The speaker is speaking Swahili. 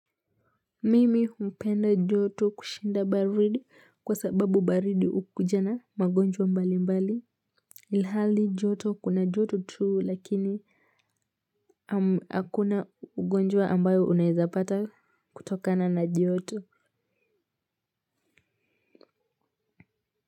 Mimi hupenda joto kushinda baridi kwa sababu baridi hukuja na magonjwa mbalimbali. Ilhali joto kuna joto tu lakini hakuna ugonjwa ambayo unaezapata kutokana na joto.